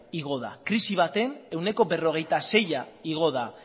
igo da krisi batean ehuneko berrogeita seia igo da